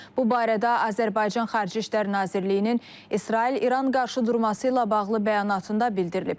Bu barədə Azərbaycan Xarici İşlər Nazirliyinin İsrail-İran qarşıdurması ilə bağlı bəyanatında bildirilib.